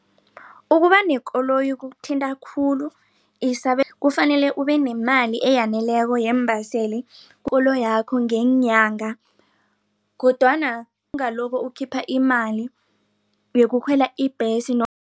Ukuba nekoloyi kukuthinta khulu kufanele ubenemali eyaneleko yeembaseli ikoloyakho ngeenyanga kodwana ungaloko ukhipha imali yokukhwela ibhesi